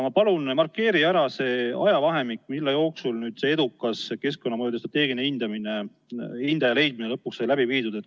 Ma palun, markeeri ära see ajavahemik, mille jooksul see edukas keskkonnamõjude strateegilise hindaja leidmine sai lõpuks läbi viidud.